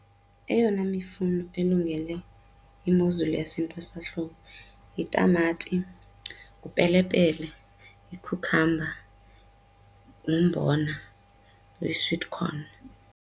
Eyona mifuno elungele imozulu yasentwasahlobo yitamati, upelepele, i-cucumber, nombona oyi-sweetcorn.